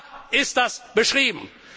Da ist das beschrieben.